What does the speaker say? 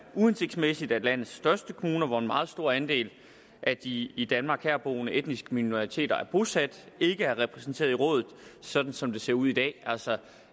uhensigtsmæssigt at landets største kommuner hvor en meget stor andel af de i danmark boende etniske minoriteter er bosat ikke er repræsenteret i rådet sådan som det ser ud i dag altså